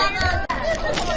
Samirə elə bil Nərgizdir.